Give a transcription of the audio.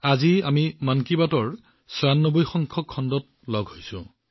আজি আমি মন কী বাতৰ ছয়ানব্বৈ ৯৬ খণ্ডত সন্মিলিত হৈছো